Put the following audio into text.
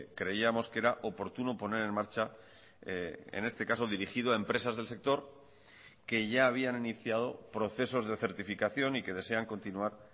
creíamos que era oportuno poner en marcha en este caso dirigido a empresas del sector que ya habían iniciado procesos de certificación y que desean continuar